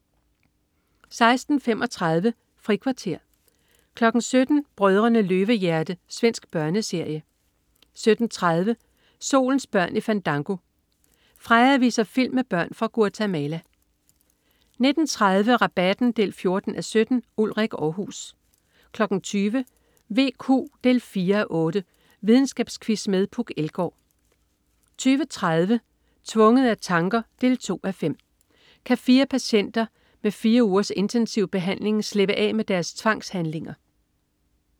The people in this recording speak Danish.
16.35 Frikvarter 17.00 Brødrene Løvehjerte. Svensk børneserie 17.30 Solens børn i Fandango. Freja viser film med børn fra Guatemala 19.30 Rabatten 14:17. Ulrik Aarhus 20.00 VQ 4:8. Videnskabsquiz med Puk Elgård 20.30 Tvunget af tanker 2:5. Kan fire patienter, ved fire ugers intensiv behandling, slippe af med deres tvangshandlinger?